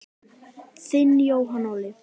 Þinn Jóhann Óli.